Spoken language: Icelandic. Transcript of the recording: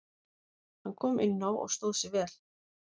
Hann kom inná og stóð sig vel.